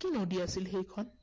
কি নদী আছিল সেইখন